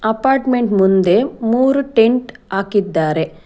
Apartment ಮುಂದೆ ಮೂರು tent ಹಾಕಿದ್ದಾರೆ.